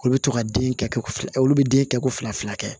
Olu bɛ to ka den kɛ olu bɛ den kɛ ko fila fila kɛ